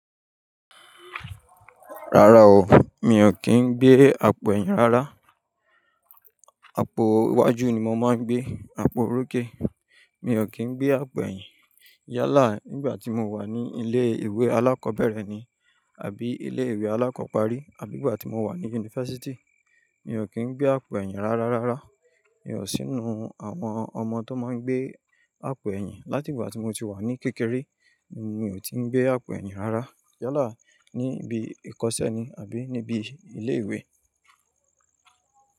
Rárá o, mi ò kí ń gbé àpò ẹ̀yìn rárá. Apo iwájú ni mo máa ń gbé, apò orókè. Mi ò kí ń gbé àpò ẹ̀yìn Yálà nígbà tí mo wà ní ilé ìwé alákòbẹ̀rẹ̀ ni àbí ilé ìwé alákọ̀ọ́parí àbí ìgbà tí mo wà ní yunifásítì, mi ò kí ń gbé àpò ẹ̀yìn rárá rárá. Mi ò sí inú àwọn ọmọ tó máa ń gbé àpò ẹ̀yìn Látìgbà tí mo ti wà ní kékeré, mi ò tí ń gbé àpò ẹ̀yìn rárá. Yálà níbi ìkọ́sẹ́ ni àbí níbi ilé ìwé.